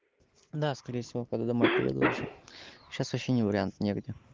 да скорее всего пойду домой приеду уже сейчас вообще не вариант негде